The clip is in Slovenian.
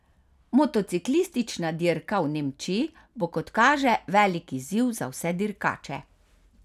Motociklistična dirka v Nemčiji bo kot kaže velik izziv za vse dirkače.